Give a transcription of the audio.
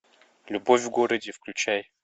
любовь в городе включай